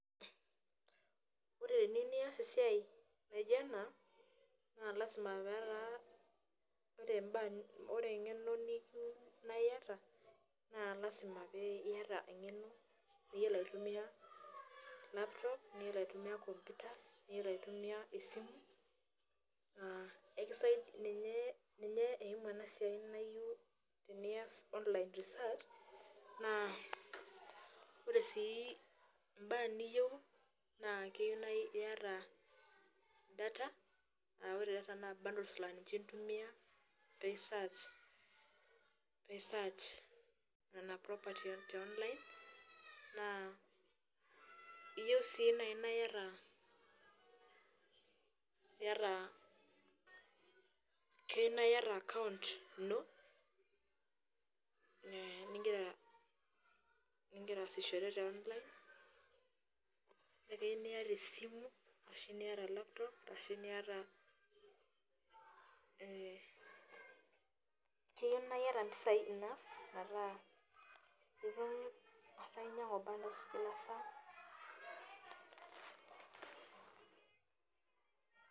Ore teniyieu nias esiai naajio ena naa lazima petaa ore engeno nitum naa iata naa lazima pee iata engeno niyiolo aituomia laptop niyiolo aituomia computers niyiolo aitumia esimu ah ninye eimu ena siai. Tenias online research naa ore sii imbaa niyieu naa keyieu naa iata data aa ore data naa ninche bundles lintumia pee I search Nena [properties te online naa iyieu sii naaji naa iata account ino nigira aasishore te online naa keyieu naa iata esimu, ]cs] ashuu niata laptop ashuu niata impisai enough metaa itum ataa inyiangu bundles Kila saa.